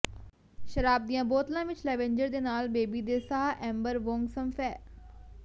ਸ਼ਰਾਬ ਦੀਆਂ ਬੋਤਲਾਂ ਵਿੱਚ ਲੈਂਵੈਂਜਰ ਦੇ ਨਾਲ ਬੇਬੀ ਦੇ ਸਾਹ ਐਂਬਰ ਵੋਂਗਸੰਫੈਂਹ